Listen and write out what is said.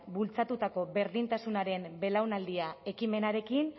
bultzatutako berdintasunaren belaunaldia ekimenarekin